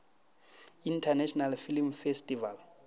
international film festival